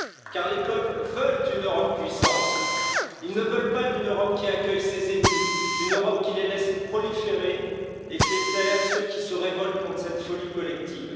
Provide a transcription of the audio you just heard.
Car les peuples veulent une Europe puissance, ils ne veulent pas d'une Europe qui accueille ses ennemis, d'une Europe qui les laisse proliférer et fait taire ceux qui se révoltent contre cette folie collective.